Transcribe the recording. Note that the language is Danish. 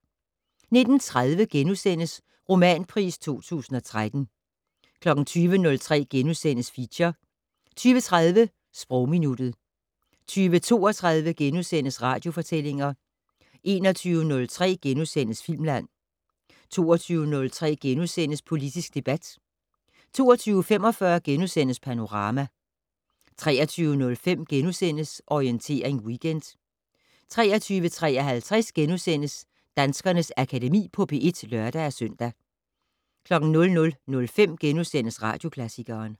19:30: Romanpris 2013 * 20:03: Feature * 20:30: Sprogminuttet 20:32: Radiofortællinger * 21:03: Filmland * 22:03: Politisk debat * 22:45: Panorama * 23:05: Orientering Weekend * 23:53: Danskernes Akademi på P1 *(lør-søn) 00:05: Radioklassikeren *